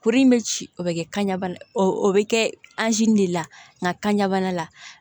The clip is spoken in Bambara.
Kuru in bɛ ci o bɛ kɛ bana o bɛ kɛ de la nka kan ka bana la